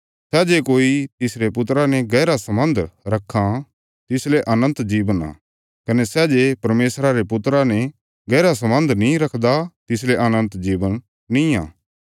सै जे कोई तिसरे पुत्रा ने गैहरा सलबन्ध रखां तिसले अनन्त जीवन आ कने सै जे परमेशरा रे पुत्रा ने गैहरा सलबन्ध नीं रखदा तिसले अनन्त जीवन बी निआं